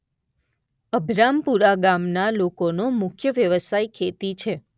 અભરામપુરા ગામના લોકોનો મુખ્ય વ્યવસાય ખેતી છે.